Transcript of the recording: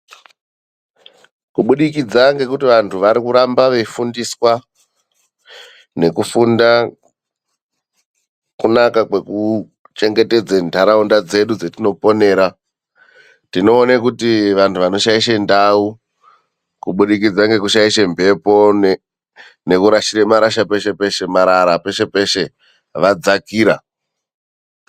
Kubudikidzwa ngekuti anhu arikufundiswa maringe ngekuchengetedze miganga yedu yatinoponera ,tinoona kuti anhu anoshaisha miganga ngekurasha marara peshe peshe vadzakira.